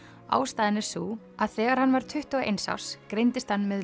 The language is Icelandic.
ástæðan er sú að þegar hann var tuttugu og eins árs greindist hann með